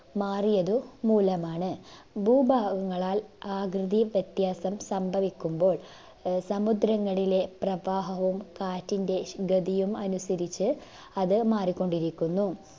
മാറിയതു മൂലമാണ്. ഭൂഭാഗങ്ങളാൽ ആകൃതി വ്യത്യാസം സംഭവിക്കുമ്പോൾ ആഹ് സമുദ്രങ്ങളിലെ പ്രവാഹവും കാറ്റിൻറെ ഗതിയും അനുസരിച് അത് മാറിക്കൊണ്ടിരിക്കുന്നു